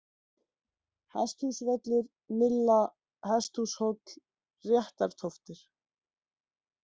Hesthúsvöllur, Mylla, Hesthúshóll, Réttartóftir